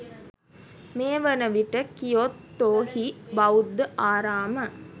මේ වනවිට කියොතෝ හි බෞද්ධ ආරාම